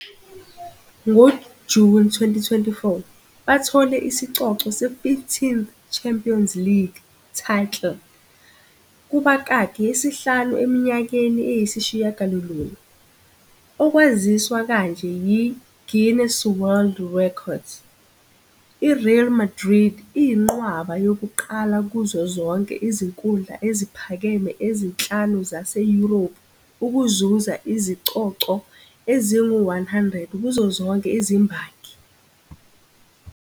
NgoJuni 2024, bathole isicoco se15th Champions League title, kubakaki, yesihlanu eminyakeni eyisishiyagalolunye, okwaziswa kanje yi-Guinness World Records. I-Real Madrid iyinqwaba yokuqala kuzo zonke izinkundla eziphakeme ezinhlanu zaseYurophu ukuzuza izicoco ezingu-100 kuzo zonke izimbangi.